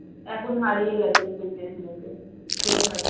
এখন হারিয়ে গেছিস তুই ফেসবুকে খুঁজে পাচ্ছিনা